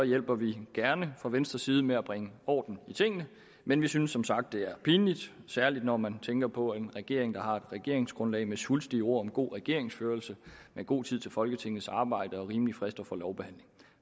hjælper vi gerne fra venstres side med at bringe orden i tingene men vi synes som sagt det er pinligt særlig når man tænker på er en regering der har et regeringsgrundlag med svulstige ord om god regeringsførelse om god tid til folketingets arbejde og rimelige frister for lovbehandlingen